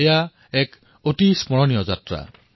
এয়া নিজৰ মাজতেই এক স্মৰণীয় যাত্ৰা